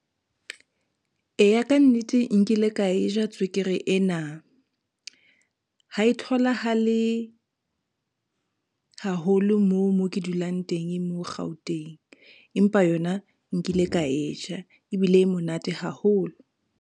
Eya, ka nnete nkile ka e ja tswekere ena. Ha e tholahale haholo moo mo ke dulang teng mo Gauteng, empa yona nkile ka e ja ebile e monate haholo.